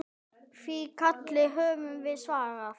Því kalli höfum við svarað.